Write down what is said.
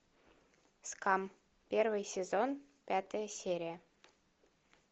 скам первый сезон пятая серия